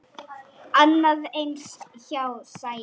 Annað eins hjá Sæunni.